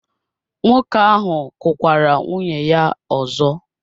Nwoke ahụ kụkwara nwunye ya ọzọ?